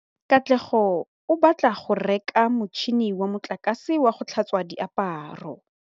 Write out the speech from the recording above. Katlego o batla go reka motšhine wa motlakase wa go tlhatswa diaparo.